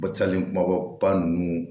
Ba sali kumaba ninnu